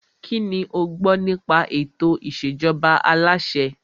Kínní o gbọ́ nípa ètò ìṣèjọba aláṣẹ?